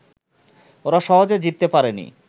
ওরা সহজে জিততে পারেনি